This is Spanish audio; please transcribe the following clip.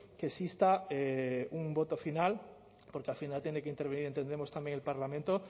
que exista un voto final porque al final tiene que intervenir entendemos también el parlamento